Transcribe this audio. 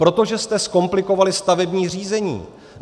Protože jste zkomplikovali stavební řízení.